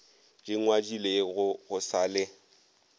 di ngwadilego go sa le